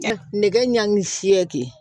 Nɛgɛ ɲangi fiyɛli